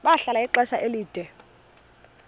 bahlala ixesha elide